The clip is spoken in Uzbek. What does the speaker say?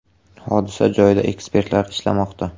Hodisa joyida ekspertlar ishlamoqda.